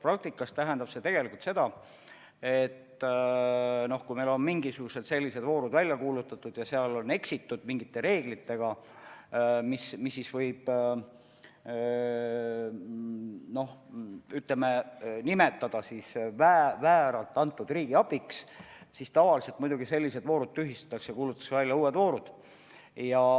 Praktikas tähendab see tegelikult seda, et kui meil on mingisugused voorud välja kuulutatud ja seal on eksitud mingite reeglitega, mistõttu riigiabi on antud vääralt, siis tavaliselt muidugi sellised voorud tühistatakse ja kuulutatakse välja uued voorud.